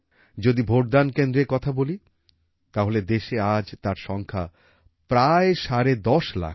যদি ভোটদান কেন্দ্রের কথা বলি তাহলে দেশে আজ তার সংখ্যা প্রায় সাড়ে ১০ লাখ